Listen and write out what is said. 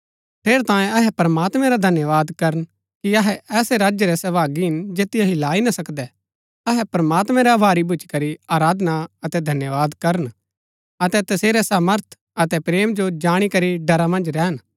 ठेरैतांये अहै प्रमात्मैं रा धन्यवाद करन कि अहै ऐसै राज्य रै सहभागी हिन जैतिओ हिलाई ना सकदै अहै प्रमात्मैं रै अभारी भूच्ची करी आराधना अतै धन्यवाद करन अतै तसेरै सामर्थ अतै प्रेम जो जाणी करी ड़रा मन्ज रैहन